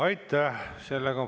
Aitäh!